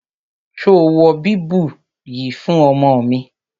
Ṣo wọ bíbù yìí fún ọmọ mi?